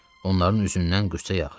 Onların üzündən qüssə yağırdı.